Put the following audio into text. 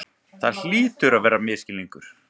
Það hlýtur að vera misskilningur.